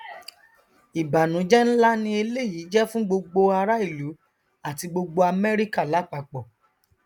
ìbànújẹ nlá ni eléyìí jẹ fún gbogbo ará ìlú àti gbogbo amẹrika lápapọ